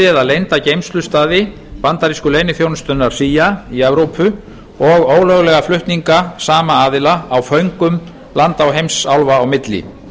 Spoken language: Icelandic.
eða leynda geymslustaði bandarísku leyniþjónustunnar cia í evrópu og ólöglega flutninga sama aðila á föngum landa og heimsálfa á milli